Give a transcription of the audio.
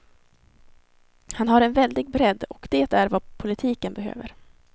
Han har en väldig bredd, och det är vad politiken behöver.